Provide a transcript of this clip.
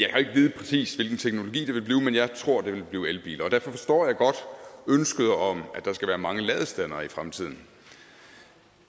vide præcist hvilken teologi det vil blive men jeg tror det vil blive elbiler derfor forstår jeg godt ønsket om at der skal være mange ladestandere i fremtiden